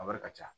A wari ka ca